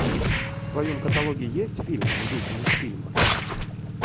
в твоем каталоге есть фильм в духе мультфильма